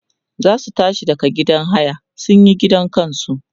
zasu tashi daga gidan haya sunyi ginin kansu